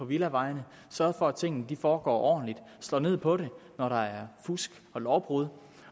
villavejene sørge for at tingene foregår ordentligt slå ned på det når der er fusk og lovbrud